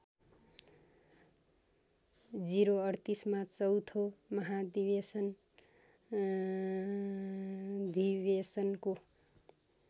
०३८ मा चौँथो महाधिबेसनको